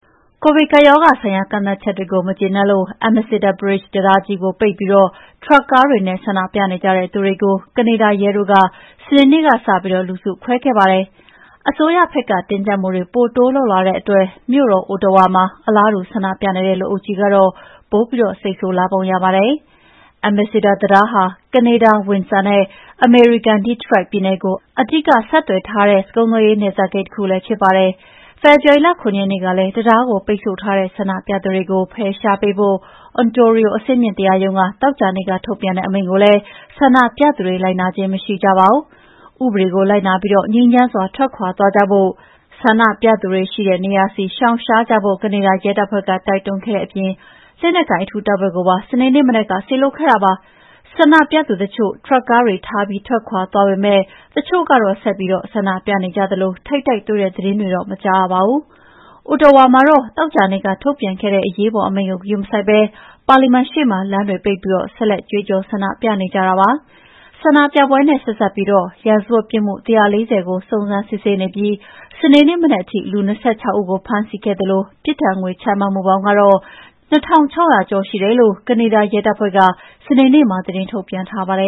ကိုဗစ်ကပ်ရောဂါဆိုင်ရာ ကန့်သတ်ချက်တွေကို မကျေနပ်လို့ Ambassador Bridge တံတားကြီးကိုပိတ်ပြီး ထရပ်ကားတွေနဲ့ ဆန္ဒပြနေတဲ့သူတွေကို ကနေဒါရဲတွေက စနေနေ့ကစပြီး လူစုခွဲခဲ့ကြပါတယ်။ အစိုးရဘက်က တင်းကျပ်မှုတွေ ပိုတိုးလုပ်လာတဲ့အတွက် မြို့တော် Ottawa မှာ အလားတူ ဆန္ဒပြနေတဲ့ လူအုပ်ကြီးကတော့ ပိုပြီး စိတ်ဆိုးလာပုံရပါတယ်။ Ambassador တံတားဟာ ကနေဒါ Winsor နဲ့ အမေရိကန် Detroit ပြည်နယ်ကို အဓိက ဆက်သွယ်ထားတဲ့ အဓိက ကုန်သွယ်ရေး နယ်စပ်ဂိတ်တခုလည်း ဖြစ်ပါတယ်။ ဖေဖော်ဝါရီလ ၇ ရက်နေ့ကတည်းက တံတားကို ပိတ်ဆို့ထားတဲ့ ဆန္ဒပြသူတွေကို ဖယ်ရှားပေးဖို့ Ontario အဆင့်မြင့်တရားရုံးက သောကြာနေ့က ထုတ်ပြန်ခဲ့တဲ့ အမိန့်ကိုလည်း ဆန္ဒပြသူတွေ လိုက်နာခြင်း မရှိကြပါဘူး။ ဥပဒေကိုလိုက်နာပြီး ငြိမ်းချမ်းစွာ ထွက်ခွါသွားကြဖို့ ဆန္ဒပြသူတွေရှိတဲ့နေရာဆီ ရှောင်ရှားကြဖို့ ကနေဒါရဲတပ်ဖွဲ့က တိုက်တွန်းခဲ့တဲ့အပြင် လက်နက်ကိုင် အထူးတပ်ဖွဲ့ကိုပါ စနေနေ့မနက်က စေလွှတ်ခဲ့တာပါ။ ဆန္ဒပြသူတချို့ ထရပ်ကားတွေထားပြီး ထွက်ခွါသွားပေမယ့် တချို့ကတော့ ဆက်ပြီး ဆန္ဒပြနေကြေသလို ထိပ်တိုက်တွေ့တဲ့ သတင်းတွတော့ မကြားရပါဘူး။ Ottawa မှာတော့ သောကြာနေ့က ထုတ်ပြန်ခဲ့တဲ့ အရေးပေါ်အမိန့်ကို ဂရုမစိုက်ဘဲ ပါလီမန်ရှေ့မှာ လမ်းတွေပိတ်ပြီး ဆက်လက်ကြွေးကြော် ဆန္ဒပြနေကြပါတယ်။ ဆန္ဒပြပွဲနဲ့ဆက်စပ်ပြီး ရာဇဝတ်ပြစ်မှု ၁၄၀ ကို စုံစမ်းစစ်ဆေးနေပြီး စနေနေ့မနက်ထိ လူ ၂၆ ဦးကို ဖမ်းဆီးခဲ့သလို ပြစ်ဒဏ်ငွေချမှတ်မှုပေါင်း ၂,၆၀၀ ကျော်ရှိတယ်လို့ ကနေဒါရဲတပ်ဖွဲ့က စနေနေ့မှာ သတင်းထုတ်ပြန်ထားပါတယ